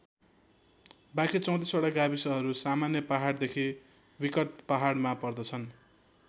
बाँकी ३४ वटा गाविसहरू सामान्य पहाडदेखि विकट पहाडमा पर्दछन्।